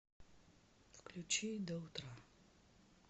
включи до утра